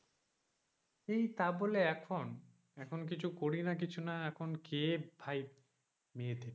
এই তাবলে এখন এখন কিছু করি না কিছু না এখন কে ভাই মেয়ে দেখবে।